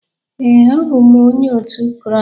Ee, abụ m Onye otu Kraịst